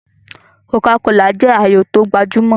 Kòká kolà jẹ́ ààyò tó gbajúmọ̀